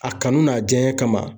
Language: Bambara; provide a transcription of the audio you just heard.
A kanu n'a diyaɲɛ kama.